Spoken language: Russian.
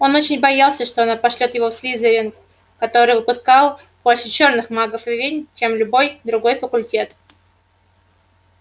он очень боялся что она пошлёт его в слизерин который выпускал больше чёрных магов и ведьм чем любой другой факультет